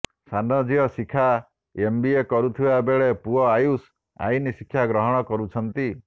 ସାନ ଝିଅ ଶିଖା ଏମବିଏ କରୁଥିବା ବେଳେ ପୁଅ ଆୟୁଷ ଆଇନ ଶିକ୍ଷା ଗ୍ରହଣ କରୁଛନ୍ତି